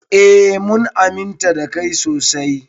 Eh mun aminta da kai sosai.